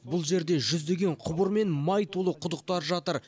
бұл жерде жүздеген құбыр мен май толы құдықтар жатыр